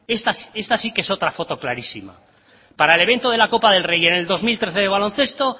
esta sí que es otra foto clarísima para el evento de la copa del rey en el dos mil trece de baloncesto